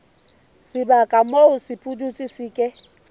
sebaka moo sepudutsi se ke